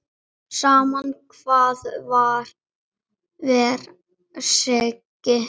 Sama hvað hver segir.